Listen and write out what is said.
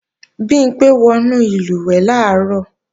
Bimpé wọnú ìlùwẹ̀ẹ̀ làárọ̀